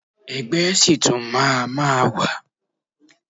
Ẹgbẹ́ ṣì tún máa ma wà.